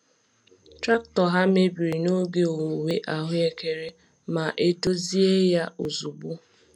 Traktọ ha mebiri n’oge owuwe ahuekere ma e dozie ya ozugbo.